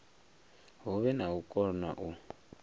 huvhe na u kona u